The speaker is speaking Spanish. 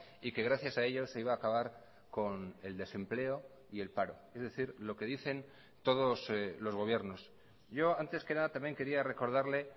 y que gracias a ellos se iba a acabar con el desempleo y el paro es decir lo que dicen todos los gobiernos yo antes que nada también quería recordarle